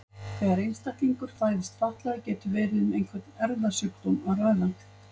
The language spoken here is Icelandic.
Þegar einstaklingur fæðist fatlaður getur verið um einhvern erfðasjúkdóm að ræða.